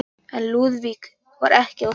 En Lúðvík var ekki á því.